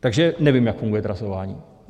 Takže nevím, jak funguje trasování.